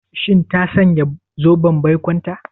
Shin ta sanya zoben baikonta?